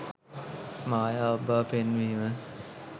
මායාවක් බව පෙන්වීම